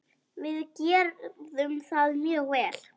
Við gerðum það mjög vel.